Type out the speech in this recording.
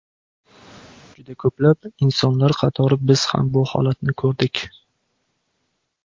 Juda ko‘plab, insonlar qatori biz ham bu holatni ko‘rdik.